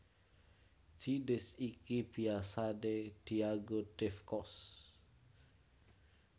Jinis iki biasané dianggo Dave Koz